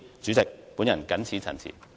主席，我謹此陳辭。